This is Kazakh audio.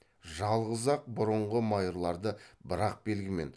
жалғыз ақ бұрынғы майырларды бір ақ белгімен